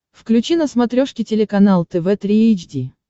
включи на смотрешке телеканал тв три эйч ди